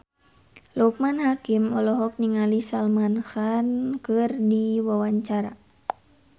Loekman Hakim olohok ningali Salman Khan keur diwawancara